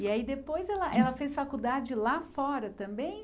E aí depois ela ela fez faculdade lá fora também?